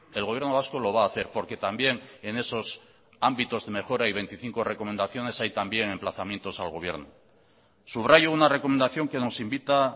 el gobierno vasco lo va a hacer porque también en esos ámbitos de mejora y veinticinco recomendaciones hay también emplazamientos al gobierno subrayo una recomendación que nos invita